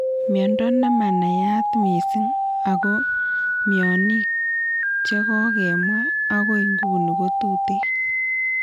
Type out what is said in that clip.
Miondo nemanaiyat mising' ako mionik chekokemwa akoi ng'uni kotuteen